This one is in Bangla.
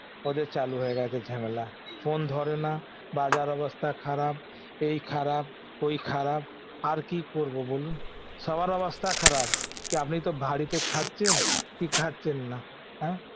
ওদের চালু হয়ে গেছে ঝামেলা phone ধরে না বাজার অবস্থা খারাপ এই খারাপ ওই খারাপ আর কি করবো বলুন সবার অবস্থা খারাপ আপনি তো বাড়িতে খাচ্ছেন কি খাচ্ছেন না আ